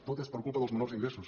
tot és per culpa dels menors ingressos